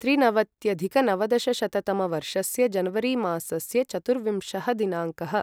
त्रिनवत्यधिकनवदशशततमवर्षस्य जनवरि मासस्य चतुर्विंशः दिनाङ्कः